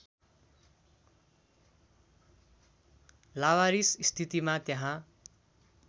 लावारिस स्थितिमा त्यहाँ